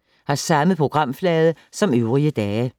Samme programflade som øvrige dage